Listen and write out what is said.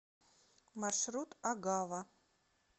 маршрут агава